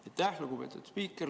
Aitäh, lugupeetud spiiker!